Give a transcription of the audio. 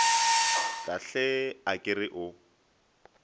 kahle a ke re o